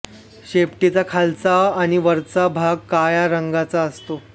शेपटीचा खालचा आणि वरचा भाग काळ्या रंगाचा असतो